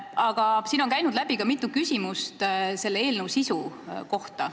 Aga siin on kõlanud ka mitu küsimust selle eelnõu sisu kohta.